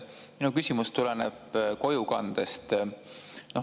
Minu küsimus tuleneb kojukandest.